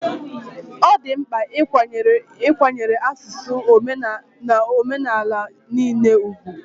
Ọ dị mkpa ịkwanyere asụsụ na omenala niile ùgwù